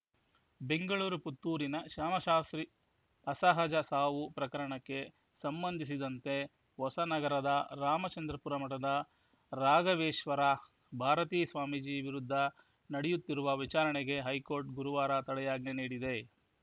ಬೆಂಗಳೂರು ಪುತ್ತೂರಿನ ಶ್ಯಾಮಶಾಸ್ತ್ರಿ ಅಸಹಜ ಸಾವು ಪ್ರಕರಣಕ್ಕೆ ಸಂಬಂಧಿಸಿದಂತೆ ಹೊಸನಗರದ ರಾಮಚಂದ್ರಾಪುರ ಮಠದ ರಾಘವೇಶ್ವರ ಭಾರತೀ ಸ್ವಾಮೀಜಿ ವಿರುದ್ಧ ನಡೆಯುತ್ತಿರುವ ವಿಚಾರಣೆಗೆ ಹೈಕೋರ್ಟ್‌ ಗುರುವಾರ ತಡೆಯಾಜ್ಞೆ ನೀಡಿದೆ